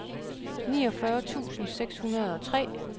niogfyrre tusind seks hundrede og tre